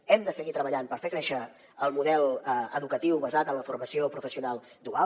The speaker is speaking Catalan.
hem de seguir treballant per fer créixer el model educatiu basat en la formació professional dual